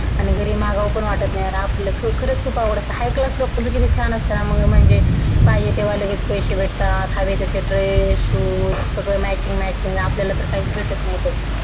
आणि घरी मागावं पण वाटत नाही यार आपलं खूप आवडतं high class लोकांचं किती छान असतं मग म्हणजे पाहिजे तेव्हा लगेच पैसे भेटतात हवे तशे dress shoes सगळं matching matching आपल्याला तर काहीच भेटत नाही बघ